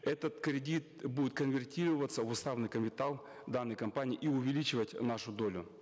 этот кредит будет конвертироваться в уставный капитал данной компании и увеличивать нашу долю